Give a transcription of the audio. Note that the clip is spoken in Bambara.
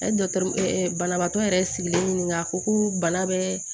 A ye dɔkitɛri ɛ banabaatɔ yɛrɛ sigilen ɲini a ko ko bana bɛ